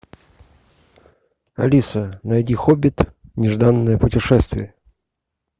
алиса найди хоббит нежданное путешествие